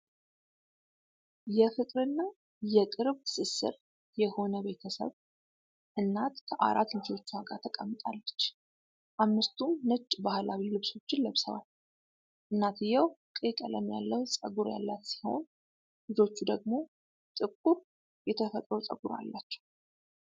የፍቅርና የቅርብ ትስስር የሆነ ቤተሰብ ፣ እናት ከአራት ልጆቿ ተቀምጣለች። አምስቱም ነጭ ባህላዊ ልብሶች ለብሰዋል። እናትየው ቀይ ቀለም ያለው ፀጉር ያላት ሲሆን፣ ልጆቹ ደግሞ ጥቁር የተፈጥሮ ፀጉር አላቸው።